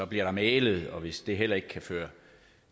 bliver der mæglet og hvis det heller ikke kan føre